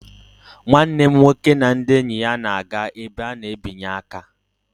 Nwanne m nwoke and ndị enyi ya na-aga ebe a na-ebinye aka